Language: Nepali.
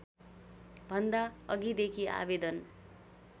भन्दा अघिदेखि आवेदन